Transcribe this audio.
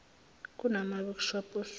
kunama workshop osuku